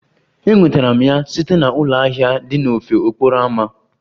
Enwetara m ya site na ụlọ ahịa dị n'ofe okporo ámá.